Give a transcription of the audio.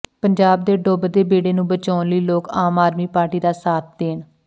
ਪੰਜਾਬ ਦੇ ਡੁੱਬਦੇ ਬੇੜੇ ਨੂੰ ਬਚਾਉਣ ਲਈ ਲੋਕ ਆਮ ਆਦਮੀ ਪਾਰਟੀ ਦਾ ਸਾਥ ਦੇਣ